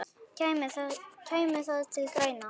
Kæmi það til greina?